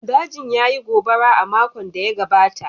Dajin ya yi gobara a makon da ya gabata